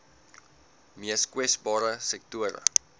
mees kwesbare sektore